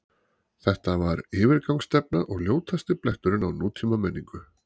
Þetta var yfirgangsstefna og ljótasti bletturinn á nútímamenningu.